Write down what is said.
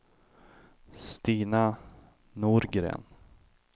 Stina Norgren